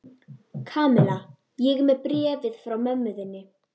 Kamilla, ég er með bréfið frá mömmu þinni.